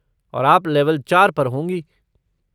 और आप लेवल चार पर होंगी।